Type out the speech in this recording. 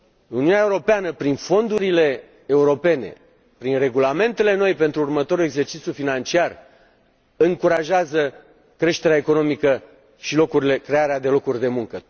Uniunea Europeană, prin fondurile europene, prin regulamentele noi pentru următorul exercițiu financiar, încurajează creșterea economică și crearea de locuri de muncă.